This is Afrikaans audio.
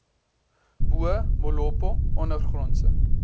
bo molopo ondergrondse